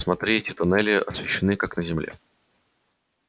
смотри эти туннели освещены как на земле